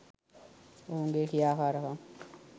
ඔවුනගේ ක්‍රියාකාරකම්